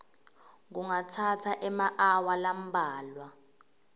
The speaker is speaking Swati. kungatsatsa emaawa lambalwa